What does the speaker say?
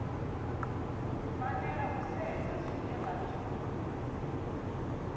fanela u sedzwa zwine vhathu